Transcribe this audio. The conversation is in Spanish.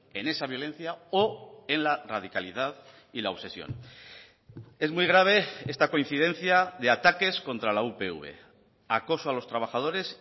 en esa violencia o en la radicalidad y la obsesión es muy grave esta coincidencia de ataques contra la upv acoso a los trabajadores